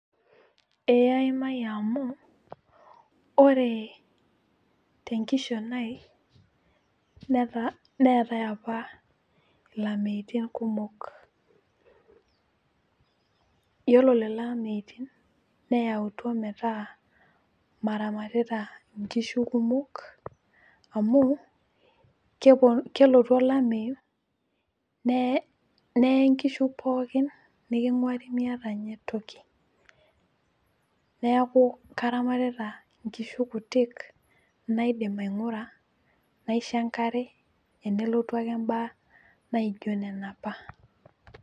ee aimayie amu, ore tenkishon ai, neetae apa ilameitin kumok, iyiolo lelo ameitin neyautua metaa maramatita nkishu kumok amu, kelotu olameyu neye nkishu pookin, niking'uari miata ninye toki, neeku karamatita nkishu kutik niadim aing'ura, naisho enkare tenelotu ake mbaa naijo nena mbaa.